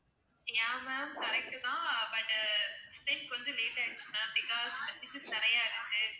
yeah ma'am correct தான் but கொஞ்சம் late ஆயிடுச்சு ma'am because messages நிறையா இருக்கு